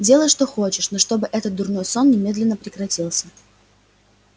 делай что хочешь но чтобы этот дурной сон немедленно прекратился